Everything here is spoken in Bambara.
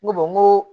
N ko n ko